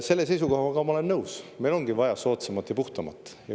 Selle seisukohaga ma olen nõus, meil ongi vaja soodsamat ja puhtamat.